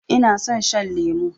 Ina son shan lemo